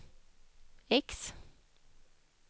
X